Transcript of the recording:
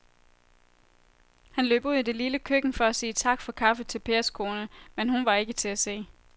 Han løb ud i det lille køkken for at sige tak for kaffe til Pers kone, men hun var ikke til at se.